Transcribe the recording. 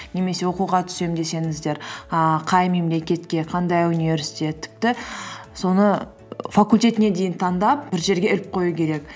немесе оқуға түсем десеңіздер ііі қай мемлекетке қандай университет тіпті соны факультетіне дейін таңдап бір жерге іліп қою керек